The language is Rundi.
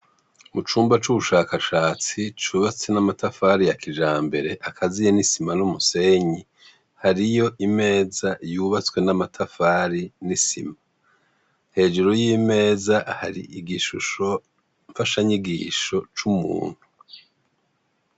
Mucumba c' ubushakashatsi cubatse n' amatafari ya kijambere, akaziye n' isima n' umusenyi, hariy' imeza y' ubatswe n' amatafari n' isima, hejuru no mumbavu harik' amakaro yera, kw' iyo meza haterets' igishusho mfasha nyigisho c' umuntu.